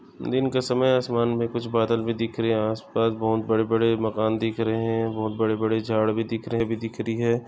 दिन के समय आसमान मे कुछ बादल भी दिख रहे है आसपास बहुत बड़े बड़े मकान दिख रहे है बहुत बड़े बड़े झाड भी दिख रहे है।